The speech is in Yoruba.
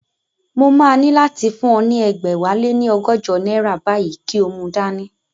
Mo máa ní láti fún ọ ní ẹgbẹ̀wáléní ọgọ́jọ náírà báyìí kí o mu dání